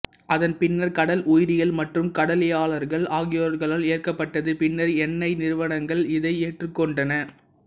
அதன் பின்னர் கடல் உயிரியல் மற்றும் கடலியலாளர்கள் ஆகியோர்களால் ஏற்கப்பட்டது பின்னர் எண்ணெய் நிறுவனங்கள் இதை ஏற்றுக்கொண்டன